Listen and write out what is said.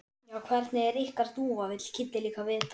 Já, hvernig er ykkar dúfa? vill Kiddi líka vita.